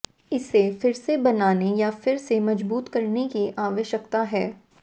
इसे फिर से बनाने या फिर से मजबूत करने की आवश्यकता है